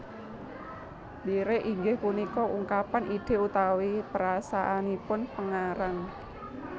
Lirik inggih punika ungkapan ide utawi perasaanipun pengarang